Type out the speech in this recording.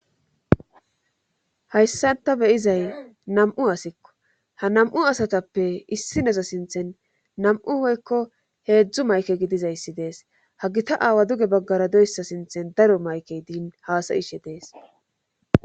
Hayssanta beyizay nam'u asikko ha nam'u asatappe issi neza sinthen nam'u oykko heedzdzu mayke gidizayssi dees ha gita aawa duge baggara doyssa sinthen daro mayke diin haasayishe dees.